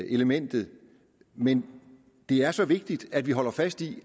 elementet men det er så vigtigt at vi holder fast i